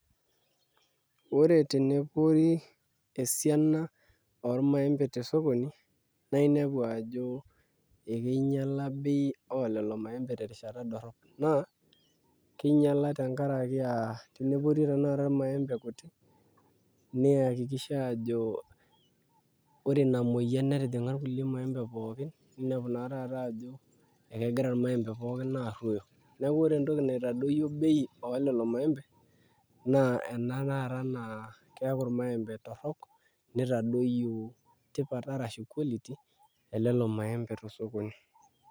Ore tenepori esiana ormaembe tesokoni naa inepu ajo ekinyiala bei oolelo maembe terishata dorrop naa tenepori tanakata irmaembe kuti niakikisha ajo ore ina moyian netijing'a irmaembe pookin ninepu naa taata ajo ekegira irmaembe pookin aarruoyo neeku ore entoki naitadoyio bei oolelo maembe naa ena taata naa keeku irmaembe torrok nitadoyio tipat arashu quality elelo maembe te sokoni.